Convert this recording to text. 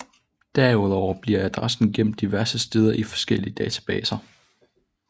Derudover bliver adressen gemt diverse steder i forskellige databaser